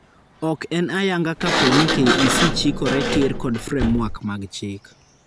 Ok en ayanga ka pooni KEC chikore tiir kod framework mag chik